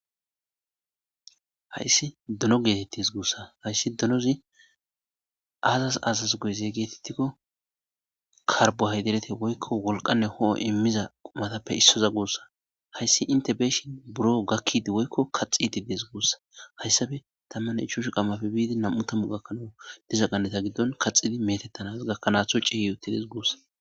hayssi dono geetettes. guussa hayssi dunozi aazas azas goyezee geetettikko karbohaydirete woykko wolqanne ho7o immiza qumatappe issoza guussa. hayssi inte be7ishin buro gakkidi woykko kaxitidi des guussa. hayssafe tammane ichashu qammafe biidi nam7u tammu gakkanawu diza qanneta giddon kaxidi metettanas gakkanaaththo ciyi utides guussa.